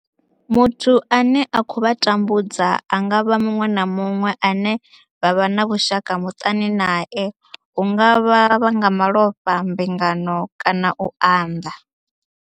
Muthu ane a khou vha tambudza a nga vha muṅwe na muṅwe ane vha vha na vhushaka muṱani nae hu nga vha nga malofha, mbingano kana u unḓa.